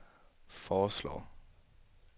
foreslår